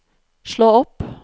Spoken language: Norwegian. slå opp